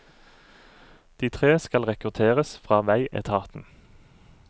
De tre skal rekrutteres fra veietaten.